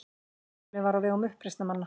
Flugvélin var á vegum uppreisnarmanna